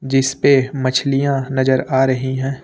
इसपे मछलियां नजर आ रही है।